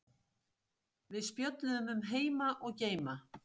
Við spjölluðum um heima og geima.